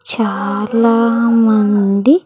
చాలా మంది.